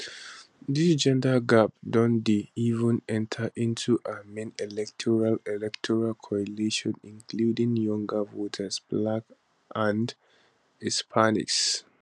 dis gender gap don dey even enta into her main electoral electoral coalition including younger voters blacks and hispanics